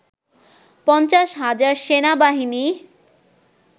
৫০ হাজার সেনাবাহিনী